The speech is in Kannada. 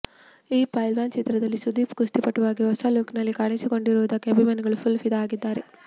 ಈ ಪೈಲ್ವಾನ್ ಚಿತ್ರದಲ್ಲಿ ಸುದೀಪ್ ಕುಸ್ತಿ ಪಟುವಾಗಿ ಹೊಸ ಲುಕ್ ನಲ್ಲಿ ಕಾಣಿಸಿಕೊಂಡಿರುವುದಕ್ಕೆ ಅಭಿಮಾನಿಗಳು ಫುಲ್ ಫಿದಾ ಆಗಿದ್ದಾರೆ